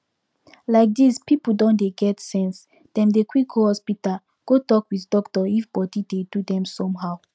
like this people don dey get sense dem dey quick go hospital go talk with doctor if body dey do them somehow